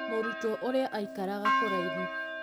Mũrutwo ũrĩa aikaraga kũraihu